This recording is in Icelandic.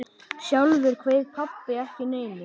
Sjálfur kveið pabbi ekki neinu.